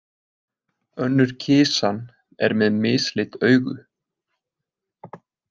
Önnur kisan er með mislit augu.